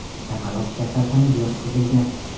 Chaqaloq kasalxonaga yotqizilgan.